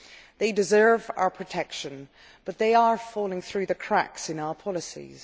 They deserve our protection, but they are falling through the cracks in our policies.